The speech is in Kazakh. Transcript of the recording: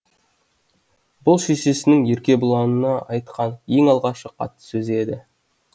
бұл шешесінің еркебұланына айтқан ең алғашқы қатты сөзі еді